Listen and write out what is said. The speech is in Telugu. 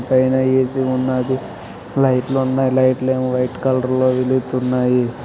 పైన ఏ_సి ఉన్నది లైట్ లు ఉన్నాయి లైట్ లేమో వైట్ కలర్ లో వెలుగుతున్నాయి.